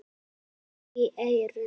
Hljóðið skar í eyrun.